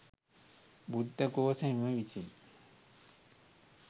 බුද්ධ ඝෝෂ හිමි විසින්